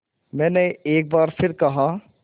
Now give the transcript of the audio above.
मैंने एक बार फिर कहा